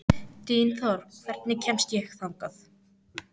Dynþór, hvernig kemst ég þangað?